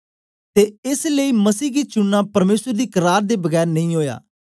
ते एस लेई मसीह गी चुनना परमेसर दी करार दे बगैर नेई ओया